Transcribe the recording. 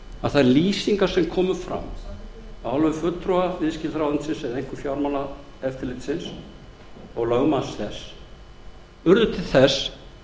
að þær að lýsingar sem komu fram af hálfu fulltrúa viðskiptaráðuneytisins eða einkum fjármálaeftirlitsins og lögmanns þess urðu til þess